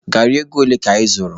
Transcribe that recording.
Gari ego ole ka ị zụrụ?